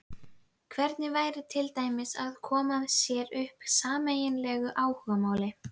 Hvernig væri til dæmis að koma sér upp sameiginlegu áhugamáli?